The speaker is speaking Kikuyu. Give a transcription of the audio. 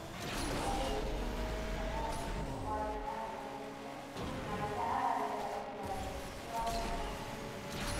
Nĩkĩ ũndũireinĩ mũtumia ndaagiriirwo kuaria arũgamite ona riria araaria thauti yake iraonania kunyiha.